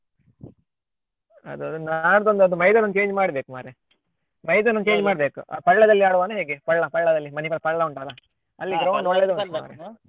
ಅದು ಹೌದು ನಾಡ್ದು ಒಂದು ಅದು ಮೈದಾನ ಒಂದು change ಮಾಡ್ಬೇಕು ಮಾರ್ರೆ ಮೈದಾನ ಒಂದು change ಮಾಡ್ಬೇಕು ಆ Palla ದಲ್ಲಿ ಆಡುವನಾ ಏನು ಹೇಗೆ Palla Palla ದಲ್ಲಿ Manipal Palla ಉಂಟಲ್ಲ ಅಲ್ಲಿ ground .